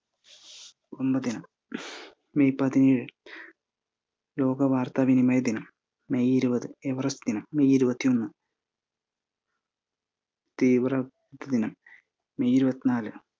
കുടുംബ ദിനം, മെയ്യ്‌ പതിനേഴ് ലോക വാർത്ത വിനിമയ ദിനം, മെയ്യ് ഇരുപത് എവറസ്റ്റ് ദിനം, മെയ്യ്‌ ഇരുപത്തൊന്ന് തീവ്രദിനം, മെയ്യ്‌ ഇരുപത്തിനാല്